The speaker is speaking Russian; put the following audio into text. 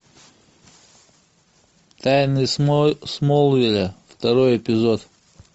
тайны смолвиля второй эпизод